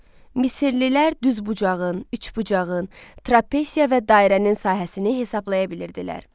Misirlilər düzbucağın, üçbucağın, trapesiya və dairənin sahəsini hesablaya bilirdilər.